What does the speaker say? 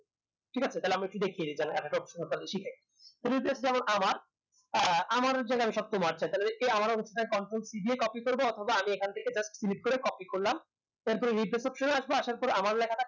ঠিক আছে তাহলে আমরা একটু দেখিয়ে দিই তাহলে একটা option আপনাদের শিখিয়ে দিই যেমন আমার আহ আমারে জায়গায় আমি সব চেয়ে তাহলে এই আমারে control c দিয়ে copy করবো অথবা আমি এখন থেকে just click করে copy করলাম তারপরে retach option এ এসব আসার পরে আমার লেখা টাকে